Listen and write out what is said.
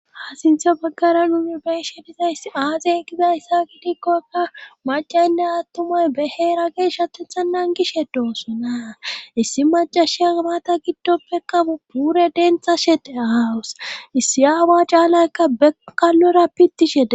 ha sinthe baggara numi beshe bizayss aazey gizayssa kidikkokka macaynde attumoy beheera ge shatetha nan gishe doossonaa issi macashi maata giddoppe kabu puure dentha shede ahawus issi aawa caalaykka bekalora piti shede